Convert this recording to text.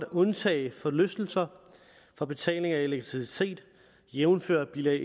at undtage forlystelser fra betaling afgift af elektricitet jævnfør bilag